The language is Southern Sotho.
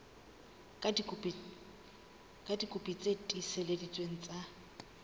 ka dikopi tse tiiseleditsweng tsa